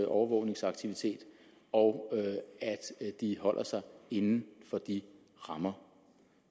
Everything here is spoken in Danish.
overvågningsaktivitet og at de holder sig inden for de rammer